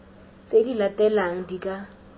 tse di latelang di ka